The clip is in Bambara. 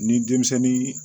Ni denmisɛnnin